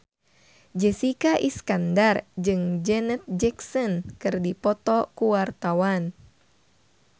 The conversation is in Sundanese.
Jessica Iskandar jeung Janet Jackson keur dipoto ku wartawan